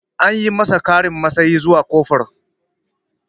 An masa ƙarin matsayi zuwa kofur